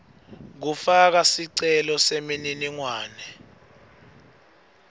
kufaka sicelo semininingwane